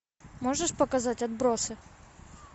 можешь показать отбросы